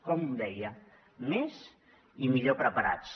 com deia més i millor preparats